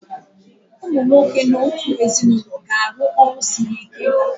Ụmụ nwoke n'otu ezinụlọ ga-arụ ọrụ siri ike.